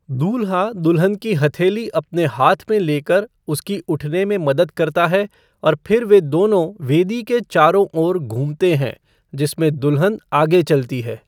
दूल्हा दुल्हन की हथेली अपने हाथ में लेकर उसकी उठने में मदद करता है और फिर वे दोनों वेदी के चारों ओर घूमते हैं, जिसमें दुल्हन आगे चलती है।